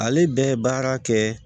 Ale bɛ baara kɛ